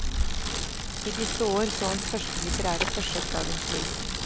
I disse år så hans første litterære forsøk dagens lys.